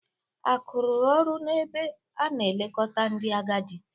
Akụ rụrụ ọrụ n'ebe a na-elekọta ndị agadi.